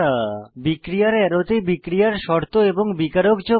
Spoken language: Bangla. বিক্রিয়ার অ্যারোতে বিক্রিয়ার শর্ত এবং বিকারক যোগ করা